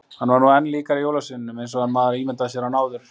Hann var nú enn líkari jólasveininum—eins og maður ímyndaði sér hann—en áður.